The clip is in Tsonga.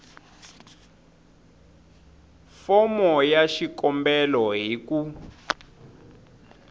fomo ya xikombelo hi ku